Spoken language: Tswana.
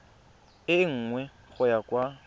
e nngwe go ya kwa